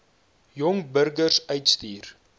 jong burgers uitstuur